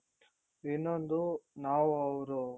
ಇನ್ನೊಂದು ನಾವು ಅವ್ರು